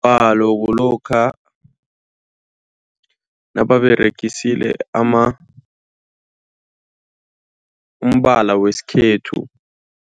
kulokha nababeregisile ama, umbala wesikhethu.